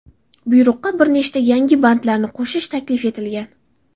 Buyruqqa bir nechta yangi bandlarni qo‘shish taklif etilgan.